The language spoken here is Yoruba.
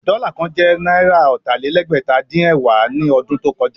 Dọ́là kan jẹ́ náírà ọ̀tà-lé-lẹ́gbẹ̀ta-dín-ẹ̀wá ní ọdún tó kọjá.